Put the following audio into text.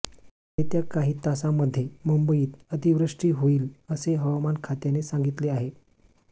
येत्या काही तासामध्ये मुंबईत अतिवृष्टी होईल असे हवामान खात्याने सांगितले आहे